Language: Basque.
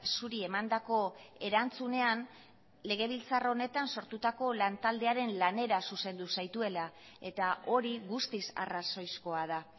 zuri emandako erantzunean legebiltzar honetan sortutako lantaldearen lanera zuzendu zaituela eta hori guztiz arrazoizkoa da